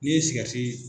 N'i ye sigɛriti